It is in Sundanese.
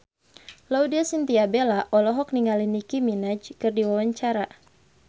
Laudya Chintya Bella olohok ningali Nicky Minaj keur diwawancara